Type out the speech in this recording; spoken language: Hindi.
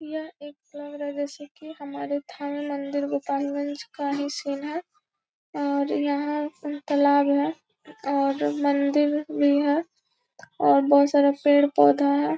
यह एक लग रहा है जैसे की हमारे थाना मंदिर गोपालगंज का ही सीन है और यहां तालाब है और मंदिर भी है और बहुत सारा पेड़-पौधा है।